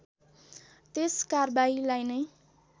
त्यस कारबाहीलाई नै